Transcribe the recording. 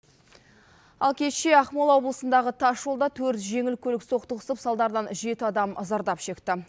ал кеше ақмола облысындағы тас жолда төрт жеңіл көлік соқтығысып салдарынан жеті адам зардап шекті